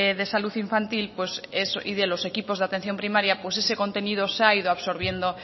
de salud infantil y de los equipos de atención primaria pues ese contenido se ha ido absorbiendo